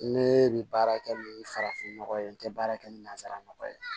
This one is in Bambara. Ne bɛ baara kɛ ni farafin nɔgɔ ye n tɛ baara kɛ ni nanzara nɔgɔ ye